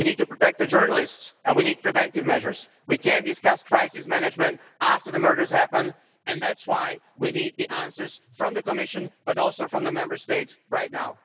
We need to protect journalists and we need preventive measures. We can't discuss crisis management after the murders happen, and that's why we need the answers from the Commission, but also from the Member States, right now.